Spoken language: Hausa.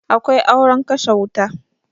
Akwai auren kashe wuta